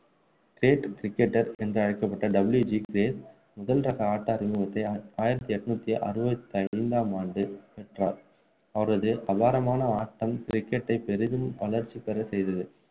great cricketer என்று அழைக்கப்பட்ட W G Grace முதல் ரக ஆட்ட அறிமுத்தை ஆயிரத்து எண்ணூற்று அறுபத்து ஐந்தாம் ஆண்டு பெற்றார் அவரது அபாரமான ஆட்டம் cricket டை பெரிதும் வளர்ச்சி பெற செய்தது